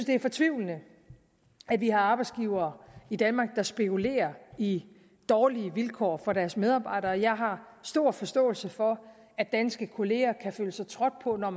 det er fortvivlende at vi har arbejdsgivere i danmark der spekulerer i dårlige vilkår for deres medarbejdere og jeg har stor forståelse for at danske kolleger kan føle sig trådt på når